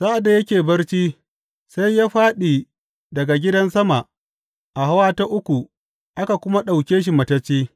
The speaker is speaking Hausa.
Sa’ad da yake barci, sai ya fāɗi daga gidan sama a hawa ta uku aka kuma ɗauke shi matacce.